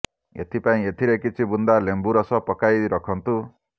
ଏଥିପାଇଁ ଏଥିରେ କିଛି ବୁନ୍ଦା ଲେମ୍ୱୁ ରସ ପକାଇ ରଖନ୍ତୁ